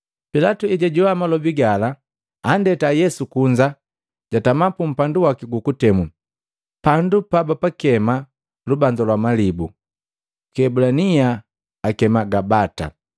Pilatu ejajoa malobi gala andeta Yesu kunza jatama pumpandu waki gukutemu, pandu pabapakema lubanza lwa malibu, kwi kiebulania akema Gabata.